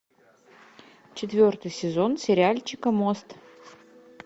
четвертый сезон сериальчика мост